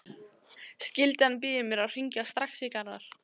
Skyldan býður mér að hringja strax í Garðar.